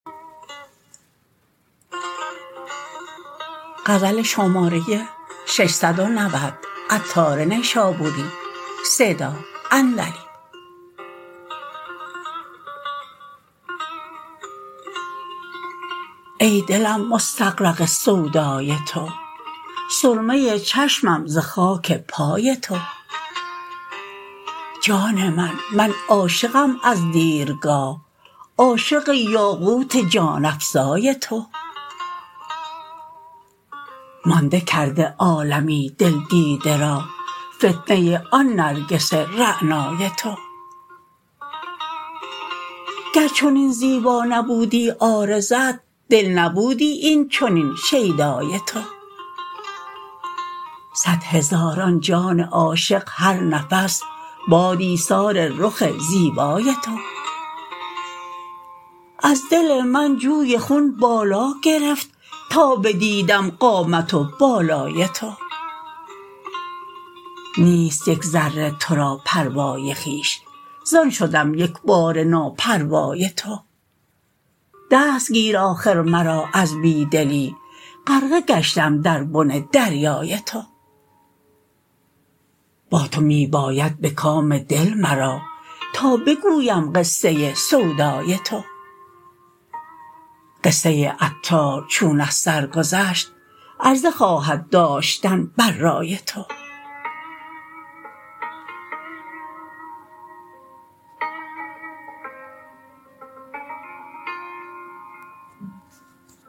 ای دلم مستغرق سودای تو سرمه چشمم ز خاک پای تو جان من من عاشقم از دیرگاه عاشق یاقوت جان افزای تو مانده کرده عالمی دل دیده را فتنه آن نرگس رعنای تو گر چنین زیبا نبودی عارضت دل نبودی این چنین شیدای تو صد هزاران جان عاشق هر نفس باد ایثار رخ زیبای تو از دل من جوی خون بالا گرفت تا بدیدم قامت و بالای تو نیست یک ذره تو را پروای خویش زان شدم یکباره ناپروای تو دست گیر آخر مرا از بی دلی غرقه گشتم در بن دریای تو با تو می باید به کام دل مرا تا بگویم قصه سودای تو قصه عطار چون از سر گذشت عرضه خواهد داشتن بر رای تو